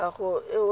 tlhago yo o nang le